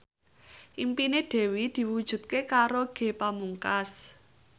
impine Dewi diwujudke karo Ge Pamungkas